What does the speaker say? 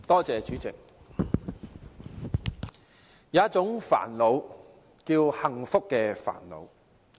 主席，有一種煩惱叫幸福的煩惱。